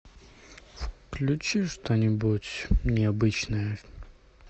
включи что нибудь необычное